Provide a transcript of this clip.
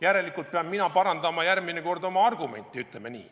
Järelikult pean mina parandama järgmine kord oma argumenti, ütleme nii.